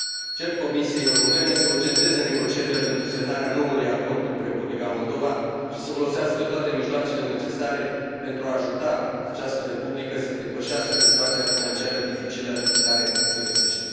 Cer Comisiei Europene să urgenteze negocierile pentru semnarea noului acord cu Republica Moldova și să folosească toate mijloacele necesare pentru a ajuta această Republică să depășească situația financiară dificilă în care se găsește.